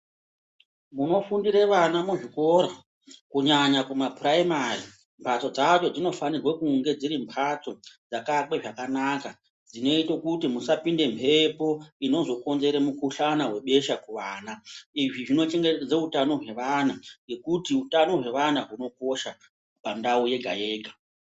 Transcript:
Munofundire vana muzvikora, kunyanya kumaprimary mbatso dzacho dzinofanire kunge dziri mhatso dzakaakwe zvakanaka dzinoite kuti musapinde mhepo inozokonzera mukuhlani webesha kuvana. Izvi zvinochengetedze utano hwevana nekuti utano hwevana hunokosha pandau yega yega.